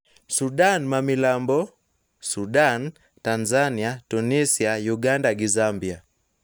Sudan ma milambo, Sudan, Tanzania, Tunisia, Uganda gi Zambia.